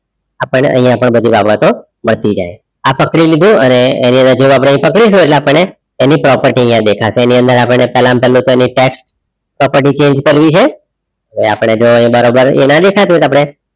આપણને અહીંયા પણ બધી બાબતો મળતી જાય આ પકડી લીધું અને એના જેમ આપણે પકડીશું એટલે આપણને એની property અહીંયા દેખાશે એની અંદર આપણને પેલામા પેલ્લુ તો tax property change કરવી છે આપણે જો બરોબર એ ના દેખાતુ હોય તો આપણે